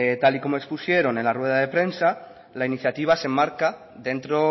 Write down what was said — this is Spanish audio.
tal y como expusieron en la rueda de prensa la iniciativa se enmarca dentro